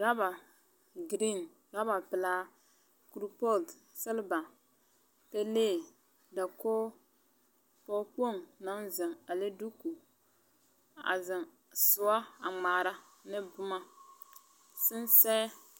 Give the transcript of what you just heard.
Rɔba giriiŋ, rɔba pelaa, kuripɔɔt selba, pelee, dakog, pɔɔkpoŋ, naŋ zeŋ a le duuku, a zɛŋ soɔ a ŋmaara ne boma, sensɛɛ.